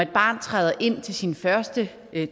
barn træder ind til sin første